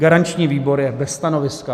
Garanční výbor je bez stanoviska.